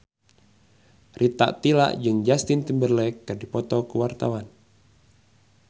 Rita Tila jeung Justin Timberlake keur dipoto ku wartawan